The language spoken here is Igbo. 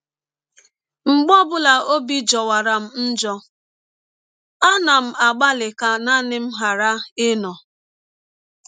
“ Mgbe ọ bụla ọbi jọwara m njọ, ana m agbalị ka naanị m ghara um ịnọ.